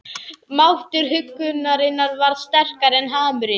Máttur huggunarinnar varð sterkari en harmurinn.